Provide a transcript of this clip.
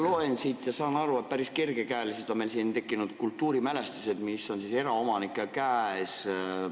Ma loen siit ja saan aru, et päris kergekäeliselt on meil tekkinud kultuurimälestised, mis on eraomanike käes.